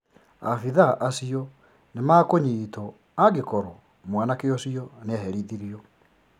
Abithaa acio nimakũnyitwo angĩkorwo mwanake ũcio nĩaherithirio